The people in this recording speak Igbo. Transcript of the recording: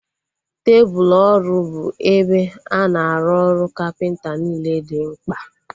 Tebụlu ọrụ bụ ebe a na-arụ ọrụ kapịnta niile dị mkpa